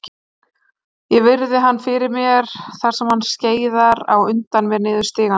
Ég virði hann fyrir mér þar sem hann skeiðar á undan mér niður stigana.